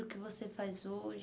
O que você faz hoje?